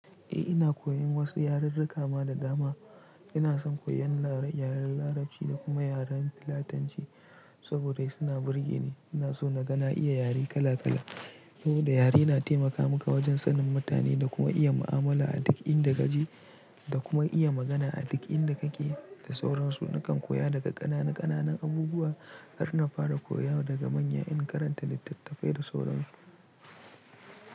Eh ina koyan wasu yaren rakama da dama. Ina son koyan yaren larabci da kuma yaren filatanci saboda suna burge ni. Ina so na ga na iya yare kala kala saboda yare na taimaka maka wajen sanin mutane da kuma iya mu'amala a duk inda ka je da kuma iya magana a duk inda kake da sauransu. Nakan koya daga kanana kananan abubuwa har na fara koya daga manya in karanta littatafai da sauransu.